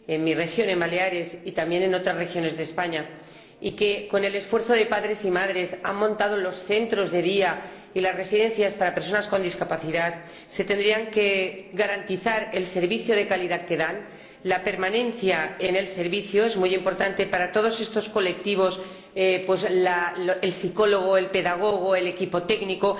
mi región, Baleares, y también en otras regiones de España— y que, con el esfuerzo de padres y madres, han montado los centros de día y las residencias para las personas con discapacidad puedan garantizar el servicio de calidad que dan. La permanencia en el servicio es muy importante para todos estos colectivos que el psicólogo, el pedagogo y el equipo técnico